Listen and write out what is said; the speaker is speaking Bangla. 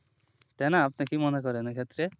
তাই না আপনি কি মনে করেন এ ক্ষেত্রে